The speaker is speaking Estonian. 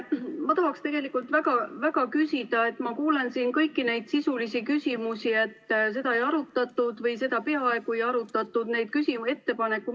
Ma tahaksin tegelikult väga küsida selle kohta, et ma kuulan siin kõiki neid sisulisi küsimusi, et seda ei arutatud või seda peaaegu ei arutatud.